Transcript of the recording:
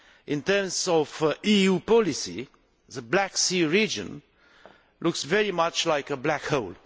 In terms of EU policy, the Black Sea region looks very much like a black hole.